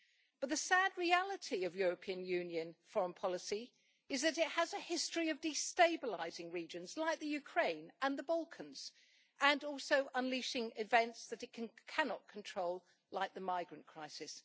But the sad reality of European Union foreign policy is that it has a history of destabilising regions like the Ukraine and the Balkans, and also unleashing events that it cannot control, like the migrant crisis.